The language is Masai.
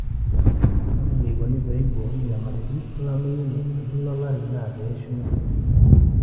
ore eneikoni pee eiboori enyamalitin olameyu te kila olari naa pee eshumi enkare